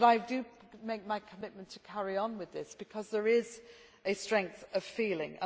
But I do make my commitment to carry on with this, because there is a strength of feeling.